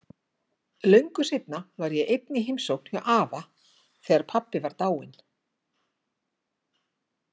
Löngu seinna var ég einn í heimsókn hjá afa, þegar pabbi var dáinn.